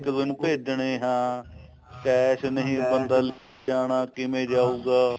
ਇੱਕ ਦੁੱਜੇ ਨੂੰ ਭੇਜਣੇ ਹਾਂ cash ਨਹੀਂ ਬਦਲ ਜਾਣਾ ਕਿਵੇਂ ਜਾਉਗਾ